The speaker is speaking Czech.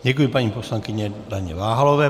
Děkuji paní poslankyni Daně Váhalové.